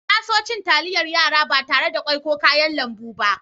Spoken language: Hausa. Na so cin talliyar yara ba tarre da ƙwoi ko kayan lambu ba.